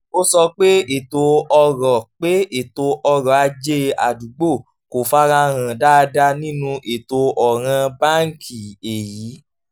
ó sọ pé ètò ọ̀rọ̀ pé ètò ọ̀rọ̀ ajé àdúgbò kò fara hàn dáadáa nínú ètò ọ̀ràn báńkì èyí